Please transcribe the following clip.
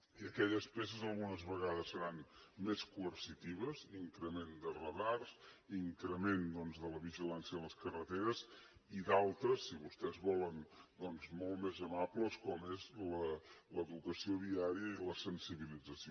i aquelles peces algunes vegades seran més coercitives increment de radars increment doncs de la vigilància a les carreteres i d’altres si vostès volen molt més amables com són l’educació viària i la sensibilització